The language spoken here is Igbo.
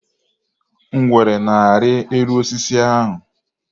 Ngwere na-arị elu osisi ahụ.